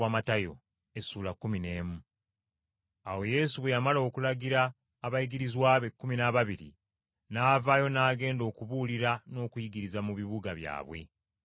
Awo Yesu bwe yamala okulagira abayigirizwa be ekkumi n’ababiri n’avaayo n’agenda okubuulira n’okuyigiriza mu bibuga byabwe.